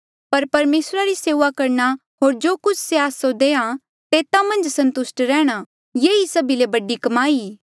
पर परमेसरा री सेऊआ करणा होर जो कुछ से आस्सा जो देआ तेता मन्झ संतुस्ट रेहणा ये ई सभी ले बडी कमाई ई